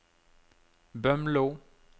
Bømlo